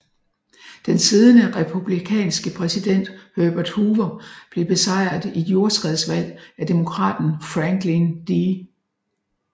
Den siddende republikanske præsident Herbert Hoover blev besejret i et jordskredvalg af demokraten Franklin D